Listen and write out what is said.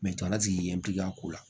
ala sigi yen ko la